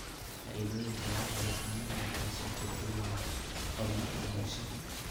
Faa'iidooyinka laga helo caanuhu waxay suurtageliyaan horumarka bulshada.